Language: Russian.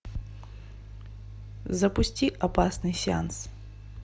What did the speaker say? запусти опасный сеанс